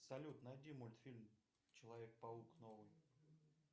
салют найди мультфильм человек паук новый